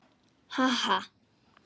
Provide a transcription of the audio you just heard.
Ha ha.